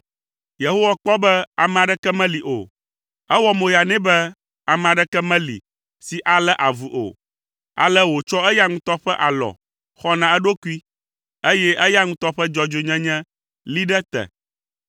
Yehowa kpɔ be ame aɖeke meli o. Ewɔ moya nɛ be ame aɖeke meli si alé avu o, ale wòtsɔ eya ŋutɔ ƒe alɔ xɔ na eɖokui, eye eya ŋutɔ ƒe dzɔdzɔenyenye lée ɖe te.